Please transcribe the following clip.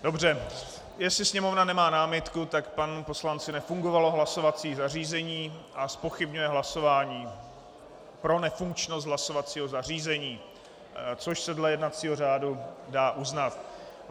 Dobře, jestli Sněmovna nemá námitku, tak panu poslanci nefungovalo hlasovací zařízení a zpochybňuje hlasování pro nefunkčnost hlasovacího zařízení, což se dle jednacího řádu dá uznat.